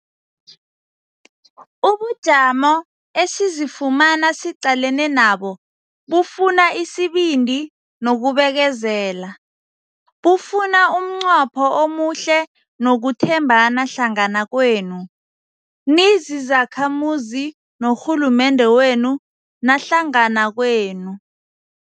Ubujamo esizifumana siqalene nabo bufuna isibindi nokubekezela. Bufunaumnqopho omuhle nokuthembana hlangana kwenu, nizizakhamuzi norhulumende wenu nahlangana kwenu.